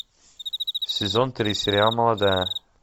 сезон три сериал молодая